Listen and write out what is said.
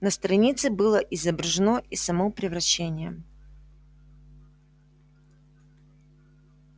на странице было изображено и само превращение